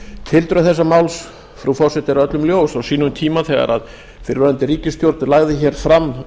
tildrög þessa máls frú forseti er öllum ljós á sínum tíma þegar fyrrverandi ríkisstjórn lagði hér fram